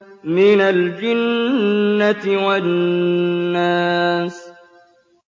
مِنَ الْجِنَّةِ وَالنَّاسِ